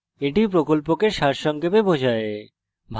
এটি প্রকল্পকে সারসংক্ষেপে বোঝায়